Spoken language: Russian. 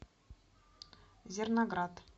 зерноград